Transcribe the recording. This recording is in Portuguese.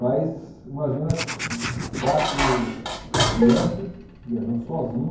Mas imagina quatro crianças viajando